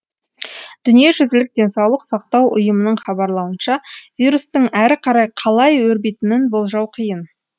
дүниежүзілік денсаулық сақтау ұйымының хабарлауынша вирустың әрі қарай қалай өрбитінін болжау қиын